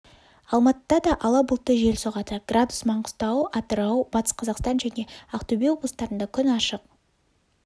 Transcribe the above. алматыда да ала бұлтты жел соғады градус маңғыстау атырау батыс қазақстан және ақтөбе облыстарында күн ашық